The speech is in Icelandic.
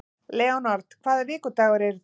Leonhard, hvaða vikudagur er í dag?